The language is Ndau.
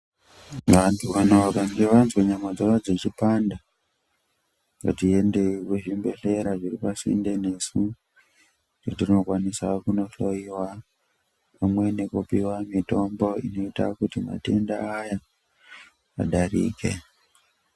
Vantu kana vakange vanzwe nyama dzavo dzichipanda, ngatiendewo kuzvibhedhlera zviri pasinde nesu kwetinokwanisa kunohloyiwa pamwe nekupiwe mitombo inoita kuti matenda adarike.